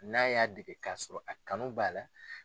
N'a y'a dege k'a sɔrɔ a kanu b'a la.